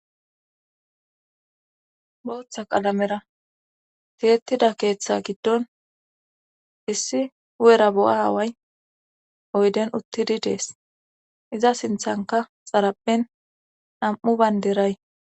Booththa qalamera tiyettida keeththa giddon issi u7era bo7a aaway oyden uttidi dees iza sinthanka xarappen nam7u baynderay